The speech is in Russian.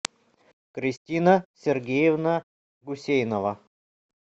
кристина сергеевна гусейнова